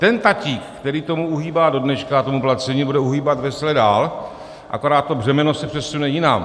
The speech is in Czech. Ten tatík, který tomu uhýbá do dneška, tomu placení, bude uhýbat vesele dál, akorát to břemeno se přesune jinam.